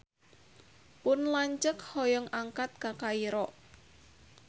Pun lanceuk hoyong angkat ka Kairo